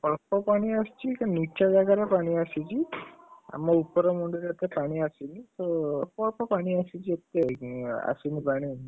ଅଳ୍ପ ପାଣି ଆସିଛି କିନ୍ତୁ ନିଚା ଜାଗାରେ ଆସିଛି ଆମ ଉପର ମୁଣ୍ଡ ଯାକ ପାଣି ଆସିନି ତ ଅଳ୍ପ ଅଳ୍ପ ପାଣି ଆସିଛି, ଏତେ ଆସିନିପାଣି ଆଉ,